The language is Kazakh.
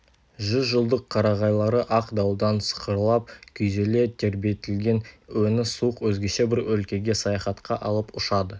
жүз жылдық қарағайлары ақ дауылдан сықырлап күйзеле тербетілген өңі суық өзгеше бір өлкеге саяхатқа алып ұшады